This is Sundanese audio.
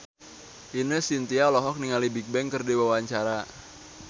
Ine Shintya olohok ningali Bigbang keur diwawancara